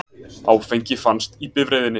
Áfengi fannst í bifreiðinni